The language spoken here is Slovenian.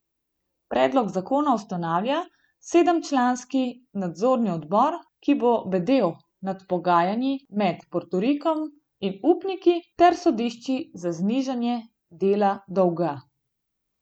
Predlog zakona ustanavlja sedemčlanski nadzorni odbor, ki bo bedel nad pogajanji med Portorikom in upniki ter sodišči za znižanje dela dolga.